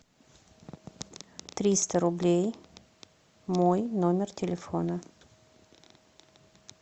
триста рублей мой номер телефона